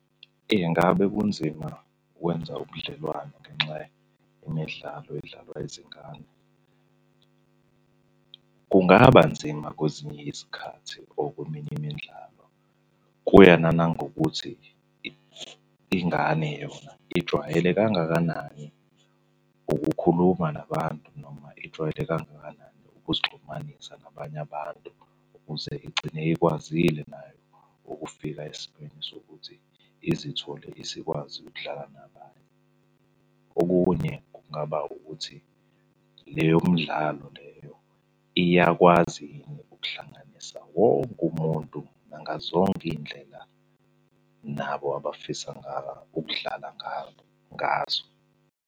Engabe kunzima ukwenza ubudlelwano ngenxa yemidlalo edlalwa yizingane? Kungaba nzima kwezinye izikhathi or kweminye imidlalo. Kuya nangokuthi, ingane yona ijwayele kangakanani ukukhuluma nabantu noma ijwayele kangakanani ukuzixhumanisa nabanye abantu, ukuze igcine ikwazile nayo ukufika esigabeni sokuthi izithole isikwazi ukudlala nabanye. Okunye kungaba ukuthi leyo mdlalo leyo iyakwazi yini ukuhlanganisa wonke umuntu nangazonke iy'ndlela nabo abafisa ukudlala ngazo.